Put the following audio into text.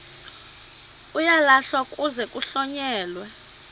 uyalahlwa kuze kuhlonyelwe